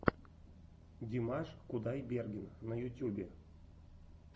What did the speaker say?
димаш кудайберген на ютьюбе